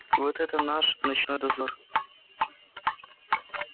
вот этот наш ночной дозор